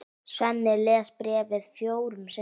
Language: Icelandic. Svenni les bréfið fjórum sinnum.